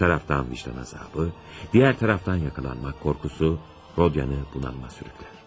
Bir tərəfdən vicdan əzabı, digər tərəfdən yaxalanmaq qorxusu Rodyanı bunalıma sürüklər.